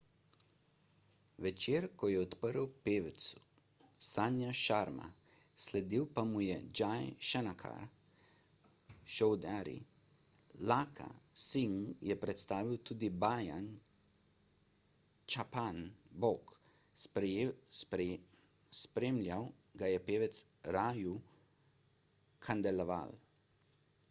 večer je odprl pevec sanju sharma sledil pa mu je jai shankar choudhary lakkha singh je predstavil tudi bajan chhappan bhog spremljal ga je pevec raju khandelwal